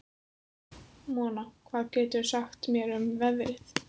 Mona, hvað geturðu sagt mér um veðrið?